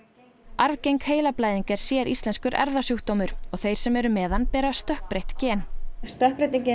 arfgeng heilablæðing er séríslenskur erfðasjúkdómur og þeir sem eru með hann bera stökkbreytt gen stökkbreytingin